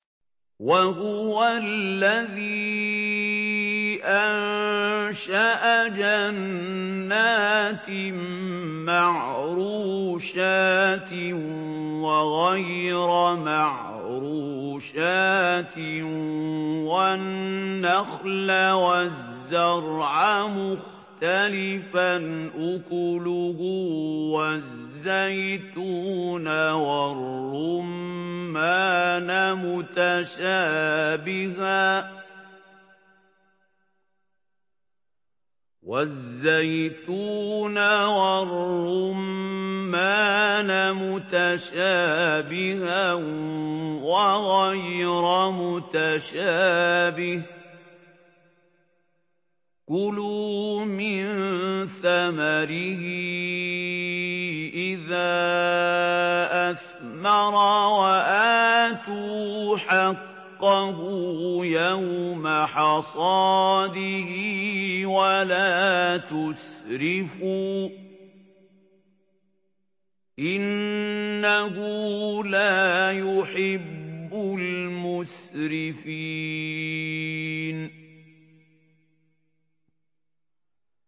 ۞ وَهُوَ الَّذِي أَنشَأَ جَنَّاتٍ مَّعْرُوشَاتٍ وَغَيْرَ مَعْرُوشَاتٍ وَالنَّخْلَ وَالزَّرْعَ مُخْتَلِفًا أُكُلُهُ وَالزَّيْتُونَ وَالرُّمَّانَ مُتَشَابِهًا وَغَيْرَ مُتَشَابِهٍ ۚ كُلُوا مِن ثَمَرِهِ إِذَا أَثْمَرَ وَآتُوا حَقَّهُ يَوْمَ حَصَادِهِ ۖ وَلَا تُسْرِفُوا ۚ إِنَّهُ لَا يُحِبُّ الْمُسْرِفِينَ